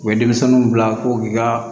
U bɛ denmisɛnninw bila ko k'i ka